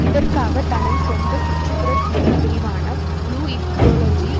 இதற்காக தனது சொந்த சுற்றுப்புறச் சூழல் பிரிவான புளு இக்கோலஜி